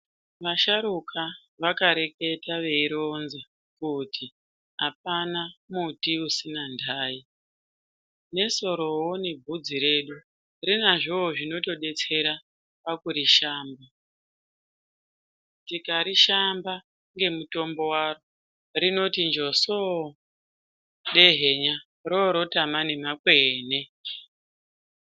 Vasharuka vakareketa veironza kuti hapana muti usina ndayi. Nesorowo nebvudzi redu rinazvowo zvinotodetsera pakurishamba. Tikarishamba ngemutombo waro, rinoti njosoo dehenya rorotama nemakwene.